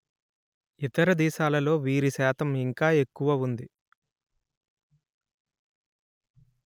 ఇతర దేశాలలో వీరి శాతం ఇంకా ఎక్కువ వుంది